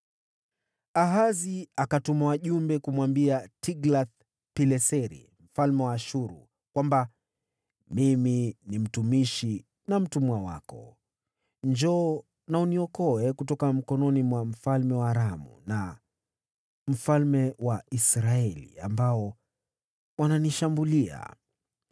Ahazi akatuma wajumbe kumwambia Tiglath-Pileseri mfalme wa Ashuru kwamba, “Mimi ni mtumishi na mtumwa wako. Njoo na uniokoe kutoka mkononi mwa mfalme wa Aramu na wa mfalme wa Israeli, ambao wananishambulia.”